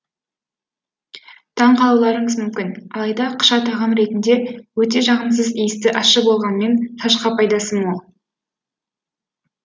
таңғалуларыңыз мүмкін алайда қыша тағам ретінде өте жағымсыз иісті ащы болғанымен шашқа пайдасы мол